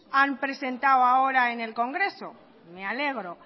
han presentado ahora en el congreso me alegro